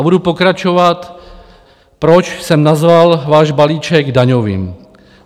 A budu pokračovat, proč jsem nazval váš balíček daňovým.